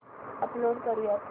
upload करुयात